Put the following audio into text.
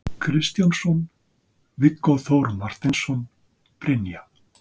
Kristjánsson, Viggó Þór Marteinsson, Brynja